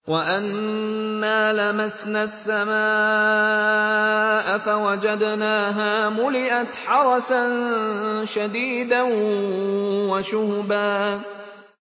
وَأَنَّا لَمَسْنَا السَّمَاءَ فَوَجَدْنَاهَا مُلِئَتْ حَرَسًا شَدِيدًا وَشُهُبًا